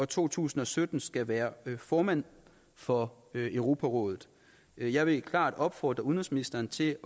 to tusind og sytten skal være formand for europarådet jeg vil klart opfordre udenrigsministeren til